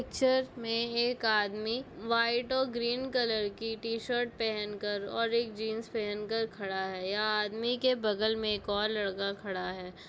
Pictures में एक आदमी वाइट और ग्रीन कलर की टी-शर्ट पहनकर और एक जींस पहनकर खड़ा है ये आदमी के बगल में एक और लड़का खड़ा है।